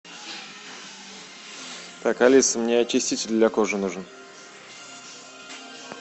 так алиса мне очиститель для кожи нужен